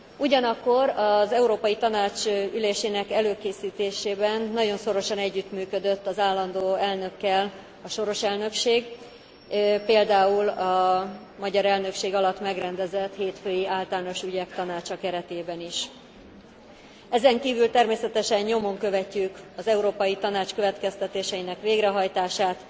Ugyanakkor az Európai Tanács ülésének előkészítésében nagyon szorosan együttműködött az állandó elnökkel a soros elnökség, például a magyar elnökség alatt megrendezett hétfői Általános Ügyek Tanácsa keretében is. Ezenkívül természetesen nyomon követjük az Európai Tanács következtetéseinek végrehajtását